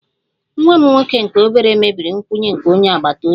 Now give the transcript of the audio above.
Nwa m nwoke nke obere mebiri nkwụnye nke onye agbata obi